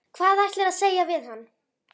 Hvað ætlarðu að segja við hann?